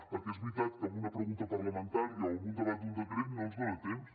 perquè és veritat que amb una pregunta parlamentària o amb un debat d’un decret no ens dona temps